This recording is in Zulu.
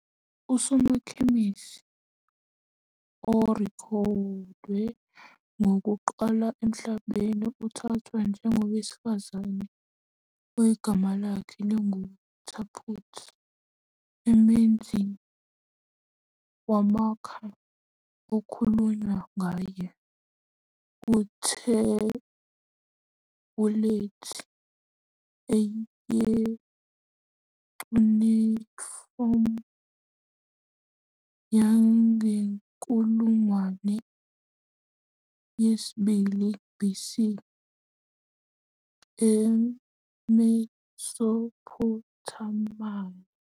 Usokhemisi orekhodiwe wokuqala emhlabeni uthathwa njengowesifazane ogama lakhe linguTapputi, umenzi wamakha okukhulunywa ngaye kuthebhulethi ye-cuneiform yangenkulungwane yesi-2 BC eMesophothamiya.